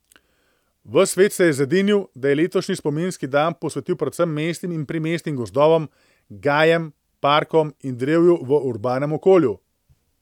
Ves svet se je zedinil, da je letošnji spominski dan posvetil predvsem mestnim in primestnim gozdovom, gajem, parkom in drevju v urbanem okolju.